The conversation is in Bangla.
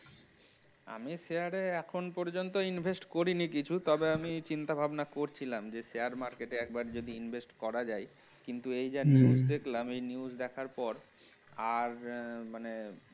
আমি share এ এখন পর্যন্ত invest করিনি তবে কিছু আমি চিন্তা-ভাবনা করছিলাম যে share market এ একবার যদি invest করা যায় কিন্তু এই যে news দেখলাম এই news দেখার পর আর মানে